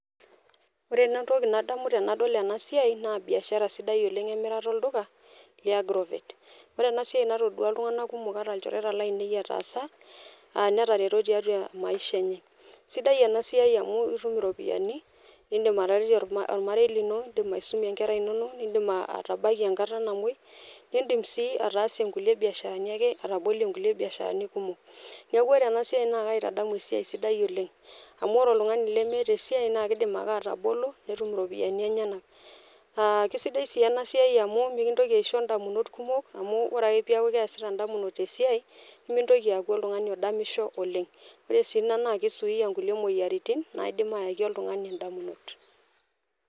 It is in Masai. Ore nanu entoki nadamu tenadol ena siai naa biashara sidai oleng emirata olduka liagrovet. Ore enasiai natodua iltunganak kumok ata ilchoreta lotaasa aa netareto tiatua a maisha enye . Sidai enasiai amu itum iropiyiani nindim ataretie ormarei lino, lindim aisumie inkera inono, nindim atabakie enkata namwoi , nindim sii ataasie nkulie biasharani ake , atabolie nkulie biasharani kumok . Niaku ore ena siai naa kaitadamu esiai sidai oleng amu ore oltungani lemeeta esiai naa kidim ake atabolo netum iropiyiani enyenak .Aa kisidai si ena siai amu mikintoki aisho ndamunot kumok amu ore ake peaku keasita ndamunot esiai nemintoki aaku oltungani odamisho oleng. Ore si ina naa kisuia kulie moyiaritin naidim ayaki oltungani indamunot .